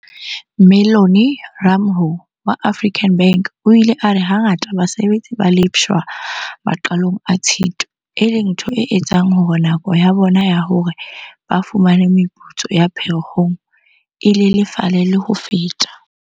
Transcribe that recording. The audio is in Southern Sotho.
Mellony Ramalho wa African Bank o ile a re hangata basebetsi ba lefshwa maqalong a Tshitwe, e leng ntho e etsang hore nako ya bona ya hore ba fumane meputso ya Pherekgong e lelefale le ho feta.